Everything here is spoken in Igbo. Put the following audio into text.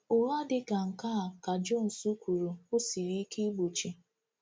“Ụgha dị ka nke a,” ka Jones kwuru, “ọ siri ike igbochi.”